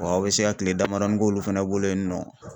Wa aw bɛ se ka kile damadɔni k'olu fana bolo yen nɔ.